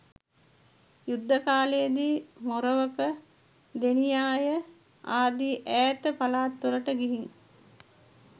යුද්ධ කාලයේ දී මොරවක, දෙනියාය ආදී ඈත පළාත්වලට ගිහින්